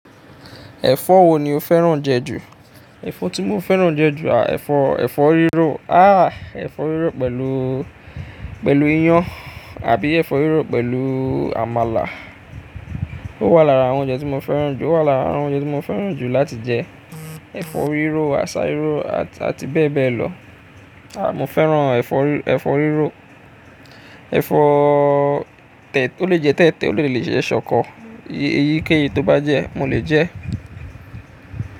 Ẹ̀fọ́ wo ni o fẹ́ràn jẹ ju? Ẹ̀fọ́ tí mo fẹ́ràn jẹ ju, à ẹ̀fọ́, ẹ̀fọ́ rírò. Ah, ẹ̀fọ́ rírò pẹ̀lú, pẹ̀lú iyán àbí ẹ̀fọ́ rírò pẹ̀lú àmàlà. Ó wà lára àwọn oúnjẹ tí mo fẹ́ràn jù. Ó wà lára àwọn oúnjẹ tí mo fẹ́ràn jù láti jẹ. Ẹ̀fọ́ rírò, àsá rírò àti bẹ́ẹ̀ bẹ́ẹ̀ lọ. Mo fẹ́ràn ẹ̀fọ́, ẹ̀fọ́ rírò. Ẹ̀fọ́ tẹ̀, ó lè jẹ tẹ̀tẹ̀, ó lè jẹ ṣọkọ. Eyíkéyìí tó bá jẹ́, mo lè jẹ́ ẹ́.